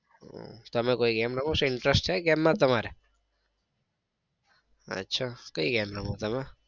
તમે કોઈ game રમો છો? interest છે game માં તમારે? અચ્છા કઈ game રમો તમે?